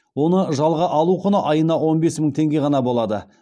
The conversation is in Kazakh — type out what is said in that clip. оны жалға алу құны айына он бес мың теңге ғана болады